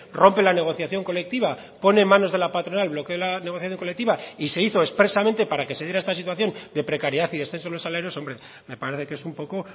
rompe la negociación colectiva pone en manos de la patronal lo que es la negociación colectiva y se hizo expresamente para que se diera esta situación de precariedad y descenso de los salarios hombre me parece que es un poco